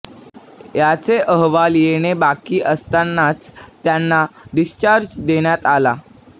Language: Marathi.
याचे अहवाल येणे बाकी असतानाच त्यांना डिस्चार्ज देण्यात आला